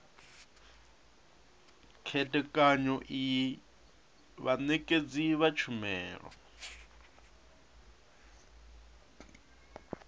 khethekanyo iyi vhanekedzi vha tshumelo